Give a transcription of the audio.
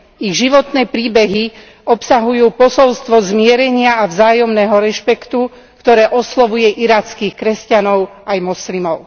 Ich životné príbehy obsahujú posolstvo zmierenia a vzájomného rešpektu, ktoré oslovuje irackých kresťanov aj moslimov.